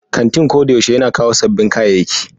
Kantin ko da yaushe yana kawo sabbin kayayyaki.